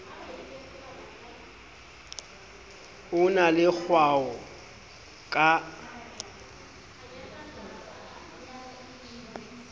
o na le kgwao ka